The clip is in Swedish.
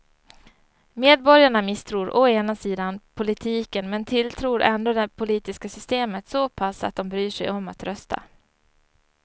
Medborgarna misstror å ena sidan politiken men tilltror ändå det politiska systemet så pass att de bryr sig om att rösta.